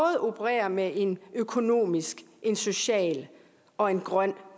opererer med en økonomisk en social og en grøn